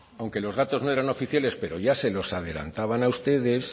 aunque los datos no eran oficiales pero ya se los adelantaban a ustedes